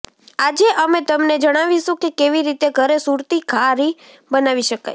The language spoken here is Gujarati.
આજે અમે તમને જણાવીશું કે કેવી રીતે ઘરે સુરતી ઘારી બનાવી શકાય